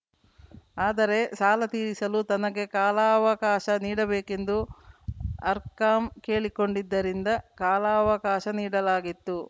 ಆದರೆ ಸಾಲ ತೀರಿಸಲು ತನಗೆ ಕಾಲಾವಕಾಶ ನೀಡಬೇಕೆಂದು ಆರ್‌ಕಾಂ ಕೇಳಿಕೊಂಡಿದ್ದರಿಂದ ಕಾಲಾವಕಾಶ ನೀಡಲಾಗಿತ್ತು